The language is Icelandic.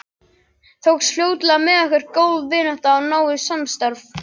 Tókst fljótlega með okkur góð vinátta og náið samstarf.